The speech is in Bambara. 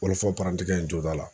Wɔlɔfɔ parantikɛ in jo t'a la